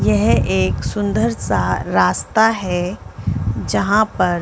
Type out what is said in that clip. यह एक सुन्दर सा रास्ता है जहाँ पर--